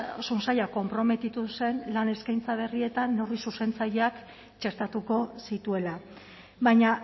osasun saila konprometitu zen lan eskaintza berrietan neurri zuzentzaileak txertatuko zituela baina